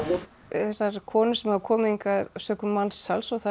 þessar konur sem hafa komið hingað sökum mansals það